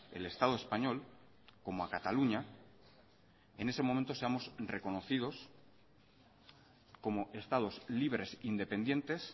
el estado español como a cataluña en ese momento seamos reconocidos como estados libres independientes